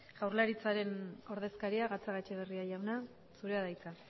jaurlaritzaren ordezkaria gatzagaetxebarria jauna zurea da hitza